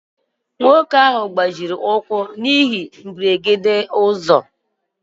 Nwoke ahụ gbajiri ụkwụ na ihe mberede okporo ụzọ.